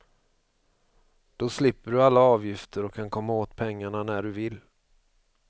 Då slipper du alla avgifter och kan komma åt pengarna när du vill.